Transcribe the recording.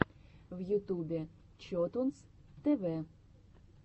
в ютубе чотунз тэ вэ